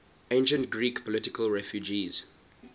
ancient greek political refugees